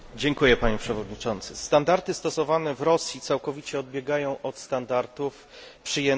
Standardy stosowane w Rosji całkowicie odbiegają od standardów przyjętych w Unii Europejskiej.